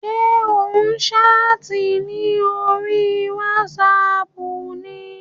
Ṣé ò ń ṣáàtì ní orí wátísapù ni?